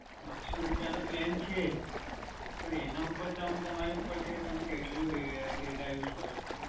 બસો રૂપિયા તો plan છે જ, પણ એના ઉપર તમારે ઉપર ચડે, તમે કેટલું data use કરો છો.